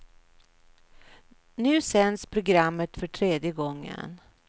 Nu sänds programmet för tredje gången.